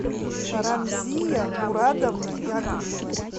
рамзия мурадовна яковлева